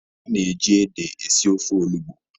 A na-eji ede esi ofe olugbo.